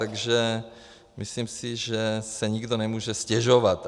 Takže myslím si, že si nikdo nemůže stěžovat.